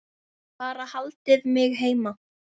Bara haldið mig heima!